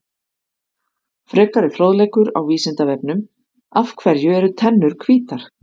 Frekari fróðleikur á Vísindavefnum: Af hverju eru tennur hvítar?